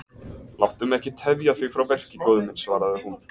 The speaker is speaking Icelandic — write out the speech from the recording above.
Láttu mig ekki tefja þig frá verki góði minn, svaraði hún.